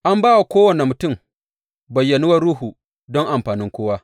An ba wa kowane mutum bayyanuwar Ruhu don amfanin kowa.